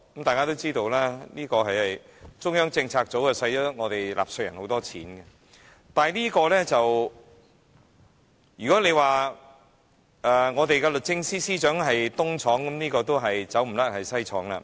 大家都知道中策組耗用納稅人巨款，如果說律政司司長是"東廠"，那麼中策組必然是"西廠"了。